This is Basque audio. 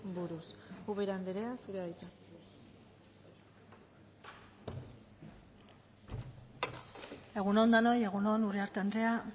buruz ubera anderea zurea da hitza egun on denoi egun on uriarte andrea